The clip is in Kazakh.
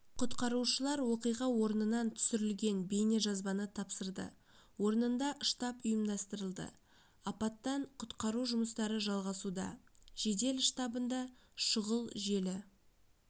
құтқарушылар оқиға орнынан түсірілген бейнежазбаны тапсырды орнында штаб ұйымдастырылды апаттан-құтқару жұмыстары жалғасуда жедел штабында шұғыл желі